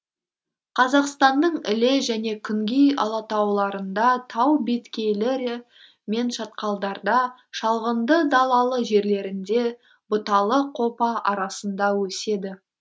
қазақстанның іле және күнгей алатауларында тау беткейлері мен шатқалдарда шалғынды далалы жерлерінде бұталы қопа арасында өседі